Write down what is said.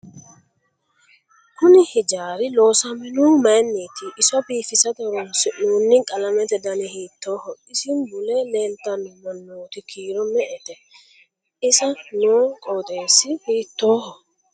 Kuni hijaari loosamonohu mayiiniiti iso biifisate horoonsinoonni qalamete dani hiitooho isi mule leelttanno manootu kiiro me'ete isa noo qoxeesi hiitooho